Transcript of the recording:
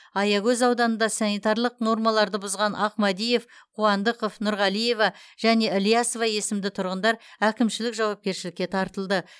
аягөз ауданында санитарлық нормаларды бұзған ахмадиев қуандықов нұрғалиева және ілиясова есімді тұрғындар әкімшілік жауапкершілікке тартылды